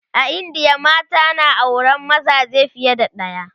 a indiya mata na auran mazaje fiye da ɗaya